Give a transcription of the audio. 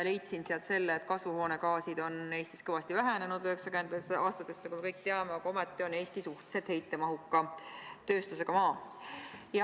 Leidsin sealt selle, et kasvuhoonegaasid on Eestis kõvasti vähenenud 1990-ndatest aastatest, nagu me kõik teame, aga ometi on Eesti suhteliselt heitmerohke tööstusega maa.